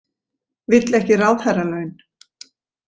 Vill ekki ráðherralaun